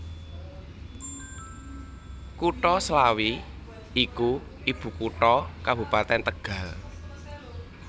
Kutha Slawi iku ibukutha Kabupatèn Tegal